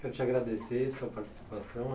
Quero te agradecer sua participação,